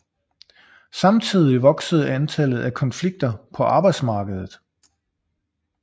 Samtidig voksede antallet af konflikter på arbejdsmarkedet